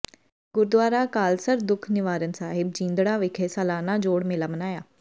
ਗੁਰਦੁਆਰਾ ਅਕਾਲਸਰ ਦੂਖ ਨਿਵਾਰਨ ਸਾਹਿਬ ਜੀਂਦੜਾ ਵਿਖੇ ਸਾਲਾਨਾ ਜੋੜ ਮੇਲਾ ਮਨਾਇਆ